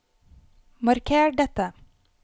Marker dette